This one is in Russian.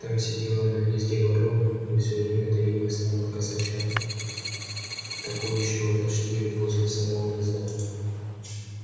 там сидела на гнезде ворона и все время таилась там от косача токующего почти возле самого гнезда